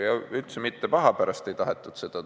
Ja üldse mitte paha pärast ei tahetud seda.